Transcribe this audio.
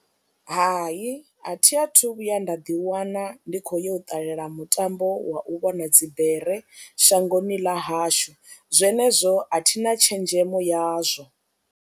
Hai, a thi a thu vhuya nda ḓiwana ndi khou yo u ṱalela mutambo wa u vhona dzibere shangoni ḽa hashu zwenezwo a thina tshenzhemo yazwo.